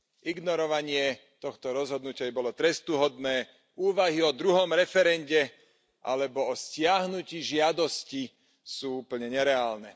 Ignorovanie tohto rozhodnutia by bolo trestuhodné, úvahy o druhom referende alebo o stiahnutí žiadosti sú úplne nereálne.